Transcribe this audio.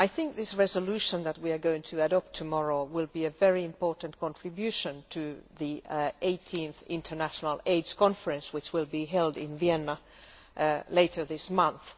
The resolution that we are going to adopt tomorrow will be a very important contribution to the 18th International AIDS Conference, which will be held in Vienna later this month.